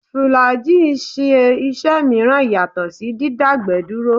Fùlàájì ń ṣe iṣẹ́ mìíràn yàtọ̀ sí dídágbẹ̀ẹ́ dúró